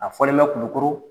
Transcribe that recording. A fɔlen bɛ kulukƆrƆ